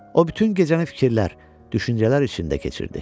O bütün gecəni fikirlər, düşüncələr içində keçirdi.